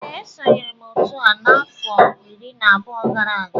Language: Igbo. Ee esonyere m otu a afọ iri na abụọ gara aga